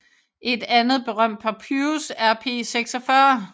Et andet berømt papyrus er P46